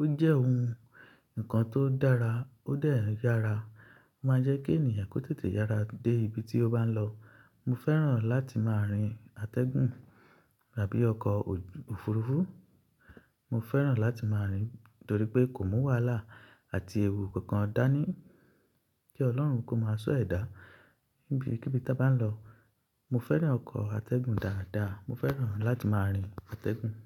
ó jẹ́ ohun nǹkan tó dára, ó dẹ̀ n yára. Ó máa ń jẹ́ kí ènìyàn kó tètè yára dé ibi tí ó bá ń lọ. Mo fẹ́ràn láti máa rin atẹ́gùn tabí ọkọ̀ òfurufú. Mo fẹ́ràn láti máa rìn nítorí pé kò mú wàhálà àti èwù kankan dání. Kí Ọlọ́run kó máa sọ ẹ̀dá nibi kíbi tá bá ń lọ. Mo fẹ́ràn ọkọ̀ atẹ́gùn dáadáa. Mo fẹ́ràn láti máa rin atẹ́gùn.